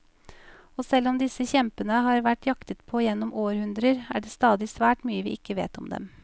Og selv om disse kjempene har vært jaktet på gjennom århundrer, er det stadig svært mye vi ikke vet om dem.